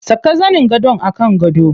Saka zanin gadon a kan gado.